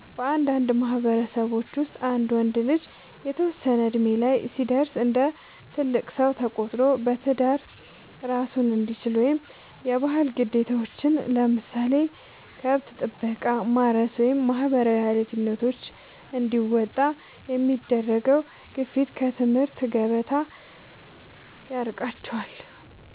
በአንዳንድ ማህበረሰቦች ውስጥ አንድ ወንድ ልጅ የተወሰነ እድሜ ላይ ሲደርስ እንደ ትልቅ ሰው ተቆጥሮ በትዳር እራሱን እንዲችል ወይም የባህል ግዴታዎችን (ለምሳሌ ከብት ጥበቃ፣ ማረስ ወይም ማህበራዊ ኃላፊነቶች) እንዲወጣ የሚደረገው ግፊት ከትምህርት ገበታ ያርቀዋል።